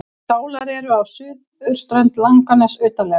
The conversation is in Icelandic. Skálar eru á suðurströnd Langaness utarlega.